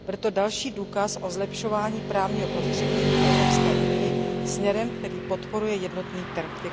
Bude to další důkaz o zlepšování právního prostřední v Evropské unii směrem, který podporuje jednotný trh.